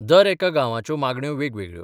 दरेका गांवाच्यो मागण्यो वेगवेगळ्यो.